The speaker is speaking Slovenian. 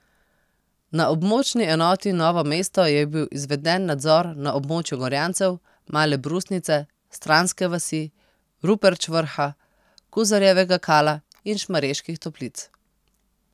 Na območni enoti Novo mesto je bil izveden nadzor na območju Gorjancev, Male Brusnice, Stranske vasi, Ruperč vrha, Kuzarjevega Kala in Šmarjeških toplic.